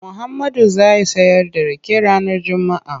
Muhammadu zai sayar da rake ranar Juma'a.